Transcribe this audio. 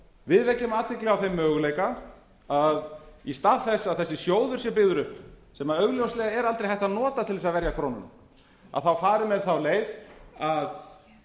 við vekjum athygli á þeim möguleika að í stað þess að þessi sjóður sé byggður upp sem augljóslega er aldrei hægt að nota til þess að verja krónuna þá fari menn þá leið að